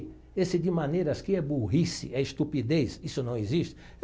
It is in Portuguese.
Esse de maneiras que é burrice, é estupidez, isso não existe.